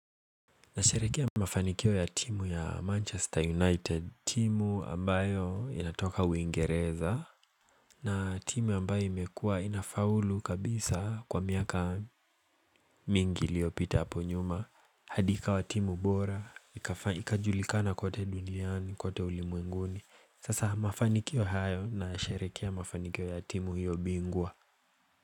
Nasharekea mafanikio ya timu ya Manchester United. Timu ambayo inatoka Uingereza na timu ambayo imekuwa inafaulu kabisa kwa miaka mingi iliyopita hapo nyuma hadi ikawa timu bora, ikajulikana kwote duniani, kwote ulimwenguni. Sasa mafanikio hayo, nasherekea mafanikio ya timu hiyo bingwa.